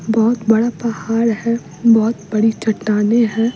बहुत बड़ा पहाड़ है बहुत बड़ी चट्टानें हैं।